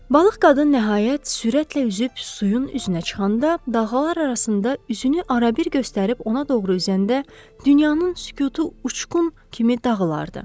Balıq qadın nəhayət sürətlə üzüb suyun üzünə çıxanda, dağlar arasında üzünü arabir göstərib ona doğru üzəndə, dünyanın sükutu uçqun kimi dağılardı.